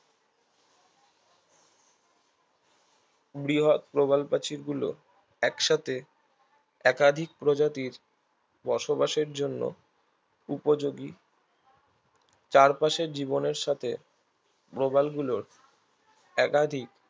বৃহৎ প্রবালপ্রাচীর গুলো একসাথে একাধিক প্রজাতির বসবাসের জন্য উপযোগী চারপাশের জীবনের সাথে প্রবালগুলোর একাধিক